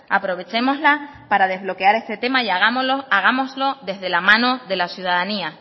aprovechémosla para desbloquear este tema y hagámoslo desde la mano de la ciudadanía